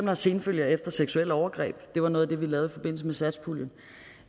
har senfølger efter seksuelle overgreb det var noget af det vi lavede i forbindelse med satspuljen